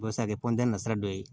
O bɛ se ka kɛ sira dɔ ye